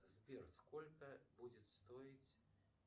сбер сколько будет стоить